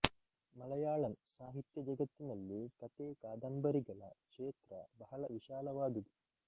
ಮಲಯಾಳಂ ಸಾಹಿತ್ಯ ಜಗತ್ತಿನಲ್ಲಿ ಕತೆ ಕಾದಂಬರಿಗಳ ಕ್ಷೇತ್ರ ಬಹಳ ವಿಶಾಲವಾದುದು